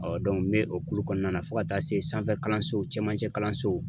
n be o kulo kɔnɔna na fo ka taa se sanfɛ kalansow cɛmancɛ kalansow